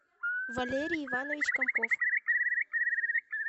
валерий иванович комков